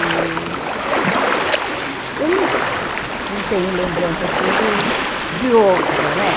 E eu não não tenho lembrança, assim, do de outras, né?